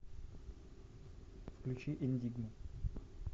включи эндигму